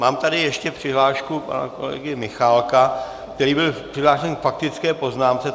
Mám tady ještě přihlášku pana kolegy Michálka, který byl přihlášen k faktické poznámce.